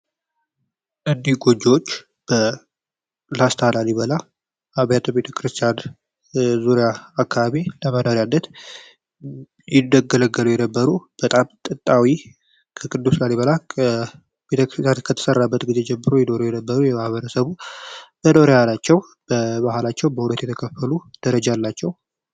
እኒህ ጎጆዎች በላስታ ላሊበላ አብያተ ቤተክርስቲያን ዙሪያ አካባቢ ለምዳኛነት ይገገለገሉ የነበሩ በጣም ከቅዱስ ላሊበላበት ግዜ ጀምሮ የዶሮ የነበሩ የማህበረሰቡ መኖር በባህላቸው ደረጃ አላቸው።